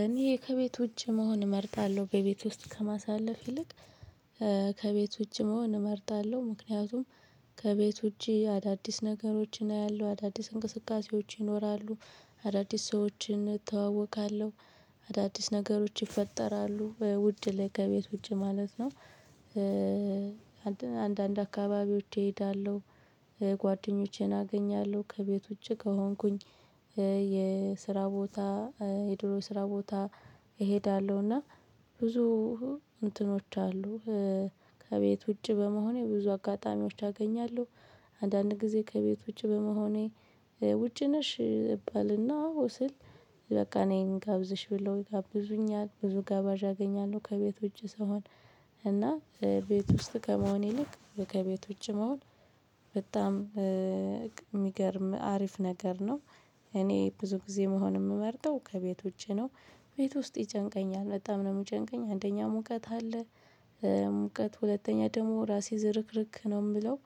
እኔ ከቤት ዉጭ መሆን እመርጣለሁ በቤት ውስጥ ከማሳለፍ ይልቅ ከቤቱ ውጭ መሆን እመርጣለሁ። ምክንያቱም ከቤት ውጪ አዳዲስ ነገሮችን አያለሁ አዳዲስ እንቅስቃሴዎች ይኖራሉ። አዳዲስ ሰዎችን እተዋወቃለሁ። አዳዲስ ነገሮች ይፈጠራሉ ውድ ከቤት ውጪ ማለት ነው። አንዳንድ አካባቢዎች እሄዳለሁ። ጓደኞቼን አገኛለሁ ከቤት ዉጪ ከሆንኩኝ። የስራ ቦታ የድሮ ስራ ቦታ እሄዳለሁ እና ብዙ እንትኖች አሉ። ከቤት ውጪ በመሆኔ ብዙ አጋጣሚዎች አገኛለሁ። አንዳንድ ጊዜ ከቤት ውጪ በመሆኔ ውጪ ነሽ እባልና አወ ስል በቃ ነይ እንጋብዝሽ ብለው ይጋብዙኛል ብዙ ጋባዥ አገኛለሁ ከቤት ውጪ ስሆን። እና ቤት ውስጥ ከመሆን ይልቅ ከቤት ውጪ መሆን በጣም የሚገርም አሪፍ ነገር ነው። እኔ ብዙ ጊዜ መሆን የምመርጠው ከቤት ዉጪ ነው። ቤት ውስጥ ይጨንቀኛል በጣም ነው የምጨንቀኝ አንደኛ ሙቀት አለ። ሙቀት ሁለተኛ ደግሞ ራሴ ዝርክርክ ነው የምለው።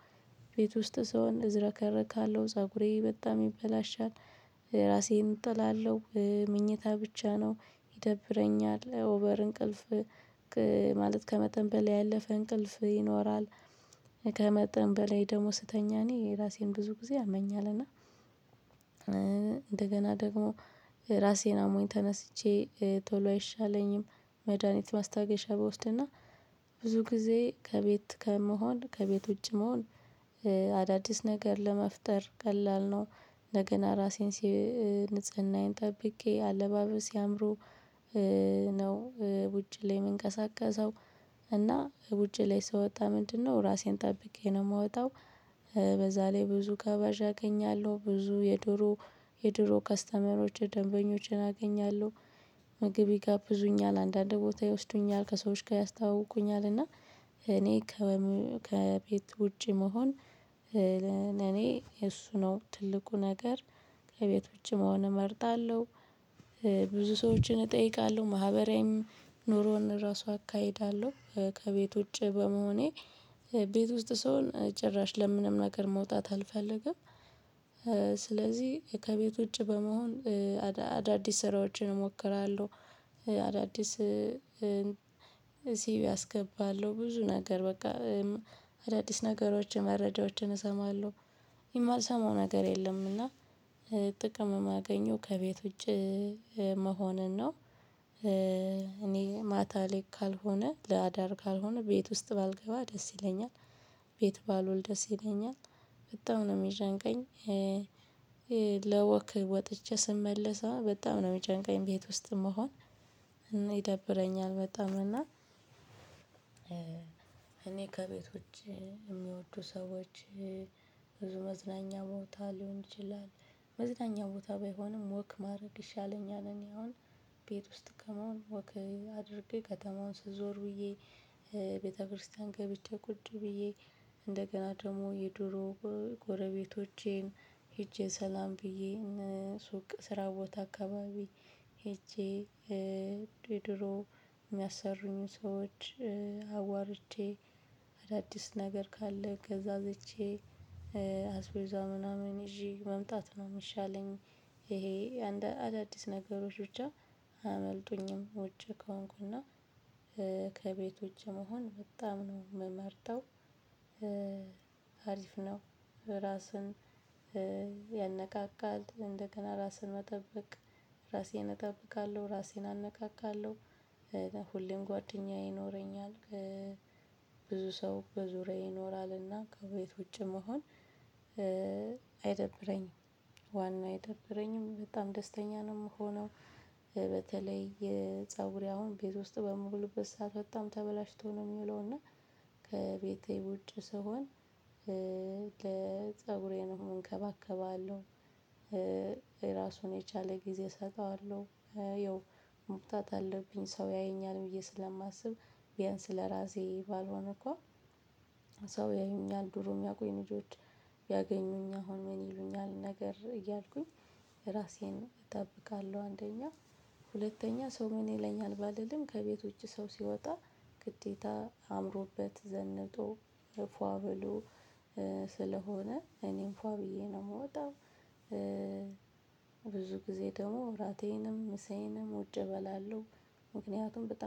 ቤት ውስጥ ሰውን እዝረከረካለሁ ፀጉሬ በጣም ይበላሻል። ራሴን እጥላለሁ ምኝታ ብቻ ነው። ይደብረኛል ኦቨር እንቅልፍ ማለት ከመጠን በላይ ያለፈ እንቅልፍ ይኖራል። ከመጠን በላይ ደግሞ ስተኛ እኔ ራሴን ብዙ ጊዜ ያመኛል እና። እንደገና ደግሞ ራሴን አሞኝ ተነስቼ ቶሎ አይሻለኝም። መድሃኒት ማስታገሻ ብወስድና ብዙ ጊዜ ከቤት ከመሆን ከቤት ውጭ መሆን። አዳዲስ ነገር ለመፍጠር ቀላል ነው። እንደገና አራሴን ንጽህናዬን ጠብቄ አለባበሴ አምሮ ነው ውጪ ላይ የምንቀሳቀሰው። እና ዊጪ ላይ ስወጣ ምንድነው ራሴን ጠብቄ ነው ምወጣው። በዛ ላይ ብዙ ጋባዥ አገኛለሁ ብዙ የድሮ የድሮ ከስተመሮች ደንበኞችን አገኛለሁ። ምግብ ይጋብዙኛል አንዳንድ ቦታ ይወስዱኛል ከሰዎች ጋር ያስታውቁኛል እና እኔ ከቤት ውጪ መሆን። ለእኔ እሱ ነው ትልቁ ነገር ከቤት ዉጪ መሆን እመርጣለሁ። ብዙ ሰዎችን እጠይቃለሁ ማህበራዊም ኑሮን ራሱ አካሂዳለሁ። ከቤት ውጪ በመሆኔ ቤት ውስጥ ሰሆን ጭራሽ ለምንም ነገር መውጣት አልፈልግም። ስለዚህ ከቤት ውጪ በመሆን አዳዲስ ስራዎችን እሞክራለሁ። አዳዲስ ሲቪ አስገባለሁ ብዙ ነገር በቃ አዳዲስ ነገሮችን መረጃዎችን እሰማለሁ። የማልሰማው ነገር የለም። እና ጥቅም የማገኘው ከቤት ውጪ መሆንን ነው። እኔ ማታ ላይ ካልሆነ ለአዳር ካልሆነ ቤት ውስጥ ባልገባ ደስ ይለኛል። ቤት ባልወል ደስ ይለኛል በጣም ነው የሚጨንቀኝ። ለወክ ወጥቼ ስመለሰ በጣም ነው የሚጨንቀኝ ቤት ውስጥ መሆን። ይደብረኛል በጣም እና። እኔ ከቤት ዉጪ የሚወዱ ሰዎች ብዙ መዝናኛ ቦታ ሊሆን ይችላል። መዝናኛ ቦታ ባይሆንም ወክ ማድረግ ይሻለኛል እኔ አሁን ቤት ውስጥ ከመሆን ወክ አድርጌ ከተማውን ስዞር ውዬ። ቤተክርስቲያን ገብቼ ቁጭ ብዬ እንደገና ደግሞ የድሮ ጎረቤቶቼን ሄጄ ሰላም ብዬ ሱቅ ስራ ቦታ አካባቢ ሄጄ ድሮ የሚያሰሩኝን ሰዎች አዋርቼ አዳዲስ ነገር ካለ ገዛዝቼ አስቤዛ ምናምን ይዤ መምጣት ነው የሚሻለኝ። ይሄ አዳዲስ ነገሮች ብቻ አያመልጡኝም ውጪ ከሆንኩና ከቤት ዉጪ መሆን በጣም ነው የምመርጠው። አሪፍ ነው። ራስን ያነቃቃል እንደገና ራስን መጠበቅ ራሴን እጠብቃለሁ ራሴን አነቃቃለሁ። ሁሌም ጓደኛ ይኖረኛል። ብዙ ሰው በዙሪያዬ ይኖራልና ከቤት ውጪ መሆን አይደብረኝም። ዋናው አይደብረኝም በጣም ደስተኛ ነው የምሆነው። በተለይ የፀጉሬ አሁን ቤት ውስጥ በምውልበት ሰዓት በጣም ተበላሽቶ ነው የሚለው እና ከቤቴ ውጪ ስሆን ፀጉሬንም እንከባከባለሁ። ራሱን የቻለ ጊዜ እሰጠዋለሁ። ይኸው መፍታት አለብኝ ሰው ያየኛል ብዬ ስለማስብ ቢያንስ ለራሴ ባልሆን እንኳን ሰው ያዩኛል ድሮ የሚያቁኝ ልጆች ቢያገኙኝ አሁን ምን ይሉኛል ነገር እያልኩኝ። ራሴን እጠብቃለሁ አንደኛ ሁለተኛ ሰው ምን ይለኛል ባልልም ከቤት ዉጪ ሰው ሲወጣ። ግዴታ አምሮበት ዘንጦ ፏ ብሎ ስለሆነ እኔም ፏ ብዬ ነው የምወጣው። ብዙ ጊዜ ደግሞ እራቴንም ምሳዬንም ውጪ እበላለሁ። ምክንያቱም በጣም